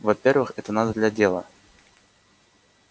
во-первых это надо для дела